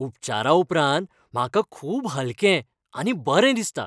उपचाराउपरांत म्हाका खूब हलकें आनी बरें दिसता.